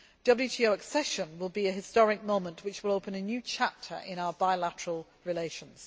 WTO accession will be a historic moment which will open a new chapter in our bilateral relations.